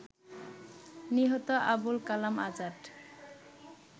নিহত আবুল কালাম আজাদ